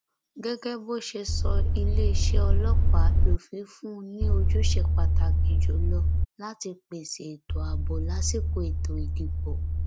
gẹgẹ bó ṣe sọ iléeṣẹ ọlọpàá lófin fún ni ojúṣe pàtàkì jù lọ láti pèsè ètò ààbò lásìkò ètò ìdìbò